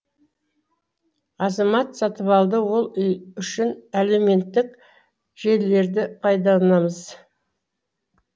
азамат сатыбалды ол үшін әлеуметтік желілерді пайдалынамыз